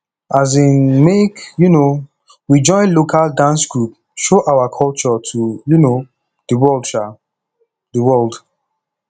um make um we join local dance group show our culture to um di world um di world